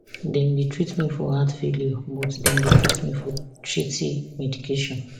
dem dey treat me for heart failure but dem dey give me shitty medication